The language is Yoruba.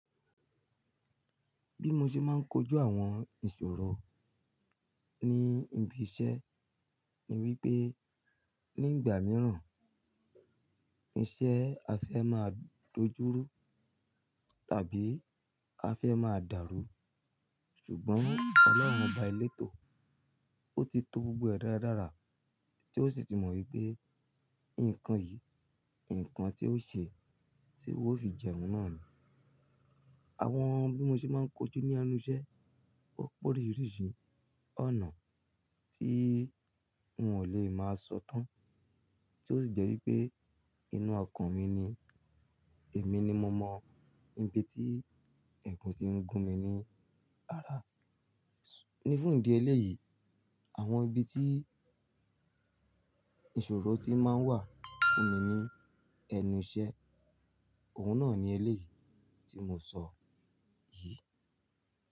Bí mo ṣe máa ń kojú àwọn ìṣòro ní ibi iṣẹ́ ni wípé nígbà mìíràn iṣẹ́ a fẹ́ máa dojú rú tàbí a fẹ́ máa dàrú. Ṣùgbọ́n olorun Ọba elétò, ó ti tó gbogbo ẹ̀ dáradára tí ó sì ti mọ̀ wípé nǹkan yìí, ǹkan tí ó ṣe tí ó fi jẹun náà ni. Àwọn bí mo ṣe máa ń kojú ní ẹnu iṣẹ́, ó pé oríṣiríṣi ọ̀nà tí n ò lè máa sọ tán, tí ó sì jẹ́ wípé inú ọkàn mi ni, èmi ni mo mọ ibi tí ẹ̀gún ti ń gún mi ní ara. Ní fún ìdí eléyìí, àwọn ibi tí ìṣòro ti máa ń wà fún mi ní ẹnu iṣẹ́, òun náà ni eléyìí tí mo ṣọ yìí.